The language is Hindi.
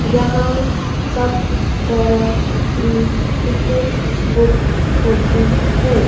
जहां सब तरह की टिकट बुक होती है।